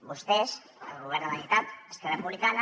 vostès el govern de la generalitat esquerra republicana